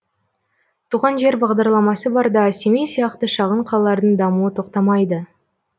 туған жер бағдарламасы барда семей сияқты шағын қалалардың дамуы тоқтамайды